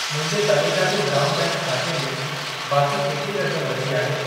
मुंहिंजे तमिल नाडु ग्राम बैंक ख़ाते में बाकी केतिरी रक़म बची आहे?